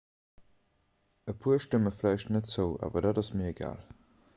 e puer stëmme vläicht net zou awer dat ass mir egal